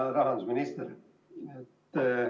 Hea rahandusminister!